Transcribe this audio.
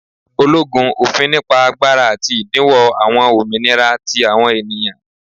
ologun, ofin nipa agbara ati idinwo awọn ominira ti awọn eniyan.